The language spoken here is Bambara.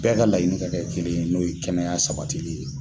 Bɛɛ ka layini ka kɛ kelen ye n'o ye kɛnɛya sabatili ye.